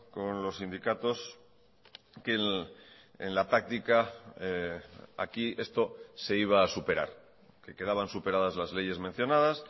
con los sindicatos que en la práctica aquí esto se iba a superar que quedaban superadas las leyes mencionadas